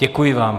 Děkuji vám.